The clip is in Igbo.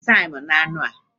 I tinyere taim na-anu a?